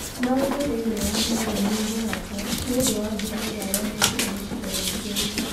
Maũndũ thĩinĩ wa Meru nĩ mararorwo nĩ ũndũ wa mbura iria yonekire gĩcigo-inĩ kĩu.